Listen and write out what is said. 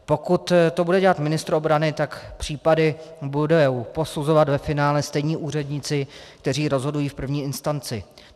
Pokud to bude dělat ministr obrany, tak případy budou posuzovat ve finále stejní úředníci, kteří rozhodují v první instanci.